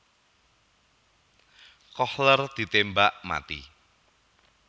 Kohler ditembak mati